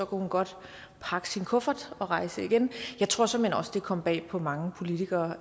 kunne hun godt pakke sin kuffert og rejse igen jeg tror såmænd også det kom bag på mange politikere